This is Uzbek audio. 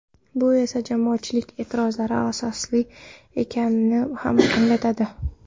Bu esa jamoatchilik e’tirozlari asosli ekanini ham anglatadi.